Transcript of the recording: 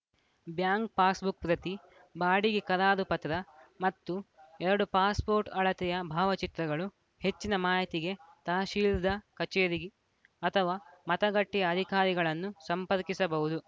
bank passbook ಪ್ರತಿ ಬಾಡಿಗೆ ಕರಾರು ಪತ್ರ ಮತ್ತು ಎರಡು ಪಾಸ್‌ ಪೋರ್ಟ್‌ ಅಳತೆಯ ಭಾವಚಿತ್ರಗಳುಹೆಚ್ಚಿನ ಮಾಹಿತಿಗೆ ತಹಶೀಲ್ದಾ ಕಚೇರಿ ಅಥವಾ ಮತಗಟ್ಟೆಯ ಅಧಿಕಾರಿಗಳನ್ನು ಸಂಪರ್ಕಿಸಬಹುದು